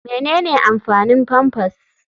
Menene amfanin pampers?